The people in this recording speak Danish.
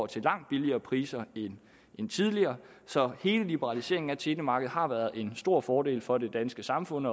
til langt lavere priser end tidligere så hele liberaliseringen af telemarkedet har været en stor fordel for det danske samfund